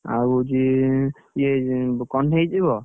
ଆଉ ହଉଛି ଇଏ କଣ କହ୍ନେଇ ଯିବ?